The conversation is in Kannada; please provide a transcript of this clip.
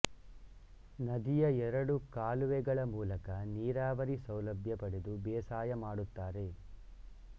ನದಿಯ ಎರಡು ಕಾಲುವೆಗಳ ಮೂಲಕ ನೀರಾವರಿ ಸೌಲಭ್ಯ ಪಡೆದು ಬೇಸಾಯ ಮಾಡುತ್ತಾರೆ